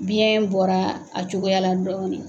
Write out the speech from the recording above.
Biɲɛ bɔra a cogoya la dɔrɔn de.